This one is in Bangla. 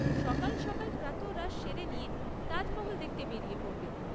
সকাল সকাল প্রাতঃরাশ সেরে নিয়ে তাজমহল দেখতে বেরিয়ে পড়বেন।